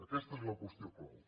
aquesta és la qüestió clau